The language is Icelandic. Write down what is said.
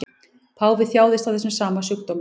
Páfi þjáðist af þessum sama sjúkdómi